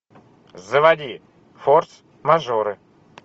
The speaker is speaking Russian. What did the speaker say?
заводи форс мажоры